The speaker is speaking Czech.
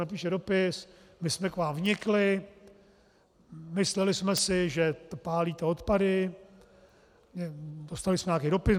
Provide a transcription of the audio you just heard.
Napíše dopis - my jsme k vám vnikli, mysleli jsme si, že pálíte odpady, dostali jsme nějaký dopis.